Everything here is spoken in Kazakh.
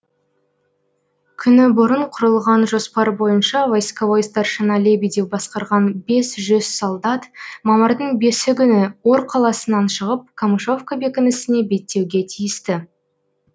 күні бұрын құрылған жоспар бойынша войсковой старшина лебедев басқарған бес жүз солдат мамырдың бесі күні ор қаласынан шығып камышовка бекінісіне беттеуге тиісті